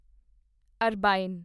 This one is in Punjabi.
ਅਰਬਾਈਨ